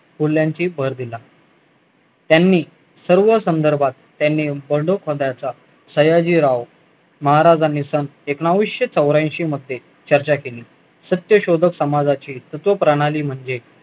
मूल्यांची भर दिला त्यांनी सर्व संदर्भात त्यांनी सयाजीराव महाराजांनी एकोणीशे चौऱ्याऐंशी मध्ये चर्चा केली सत्य शोधक समाजाच्या तत्त्वप्रणाली म्हणजे